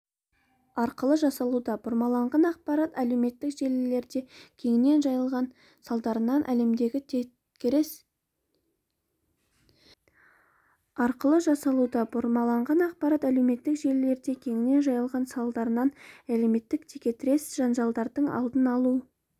арқылы жасалуда бұрмаланған ақпарат әлеуметтік желілерде де кеңінен жайылған салдарынан әлемдегі текетірес жанжалдардың алдын алу